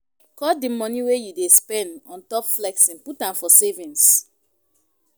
Cut di money wey you dey spend on top flexing put am for savings